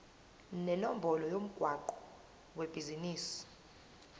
nenombolo yomgwaqo webhizinisi